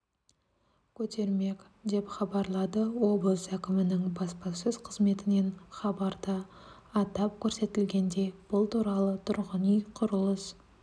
көтермек деп хабарлады облыс әкімінің баспасөз қызметінен хабарда атап көрсетілгендей бұл туралы тұрғын үй құрылыс